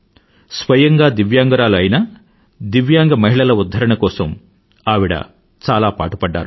స్వయంగా దివ్యాంగురాలు కావడమే కాక దివ్యాంగ మహిళల ఉధ్ధారణ కోసం ఆవిడ చాలా పాటుపడ్డారు